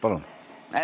Palun!